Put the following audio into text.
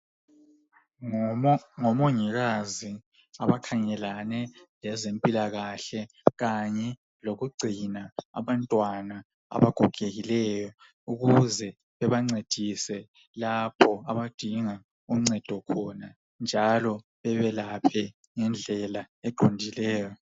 Ngomo ngomongikazi abakhangelane lezempilakahle Kanye lokugcina abantwana abagogekileyo ukuze bebancedise lapho abadinga uncedo khona njalo bebelaphe ngendlela eqondileyo.